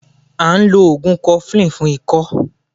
À n lo ògùn 'cofflin fún ikọ́